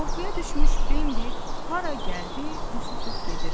Qorxuya düşmüş Bembi hara gəldi üst tutub gedirdi.